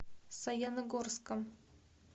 саяногорском